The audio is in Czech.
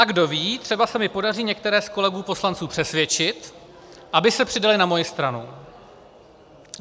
A kdo ví, třeba se mi podaří některé z kolegů poslanců přesvědčit, aby se přidali na moji stranu.